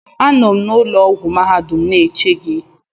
Anọ m na ụlọ ọgwụ mahadum eche gị